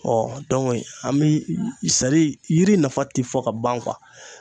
an bi yiri nafa ti fɔ ka ban